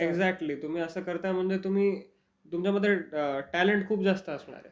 Exactly. म्हणजे तुम्ही असं करता, म्हणजे तुमच्यामध्ये टॅलेंट खूप जास्त असणार.